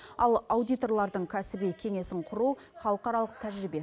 ал аудиторлардың кәсіби кеңесін құру халықаралық тәжірибе